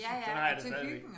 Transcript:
Sådan har jeg det stadigvæk